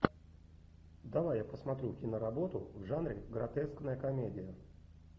давай я посмотрю киноработу в жанре гротескная комедия